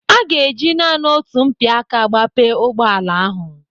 A ga-eji naanị otu mpịaka gbape ụgbọala ahụ.